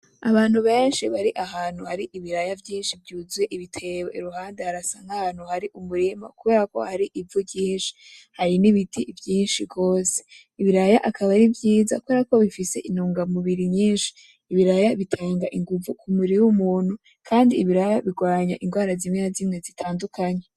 Abantu beshi bari ahantu hari ibiraya vyishi vyuzuye ibitebo iruhande harasa nkahantu hari umurima kubera hari ivu ryishi hari n'ibiti vyishi gose, Ibiraya akaba ari vyiza kuberako bifise intunga m'ubiri nyishi ibiraya bitanga inguvu k'umubiri w'umuntu kandi ibiraya birwanya ingwara zimwe n'azimwe zitandukanye.